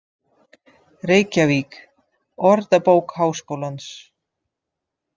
Reykjavík: Orðabók Háskólans.